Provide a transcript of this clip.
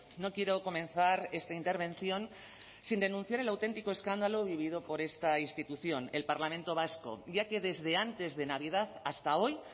no quiero comenzar esta intervención sin denunciar el auténtico escándalo vivido por esta institución el parlamento vasco ya que desde antes de navidad hasta hoy